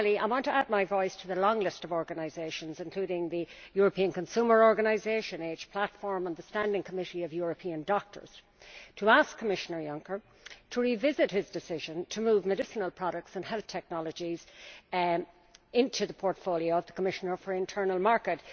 Lastly, I want to add my voice to the long list of organisations, including the European consumer organisation AGE Platform, and the Standing Committee of European Doctors, asking Commissioner Juncker to revisit his decision to move medicinal products and health technologies into the portfolio of the Commissioner for the Internal Market.